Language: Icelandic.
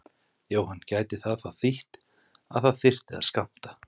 Jóhann: Gæti það þá þýtt að það þyrfti að skammta?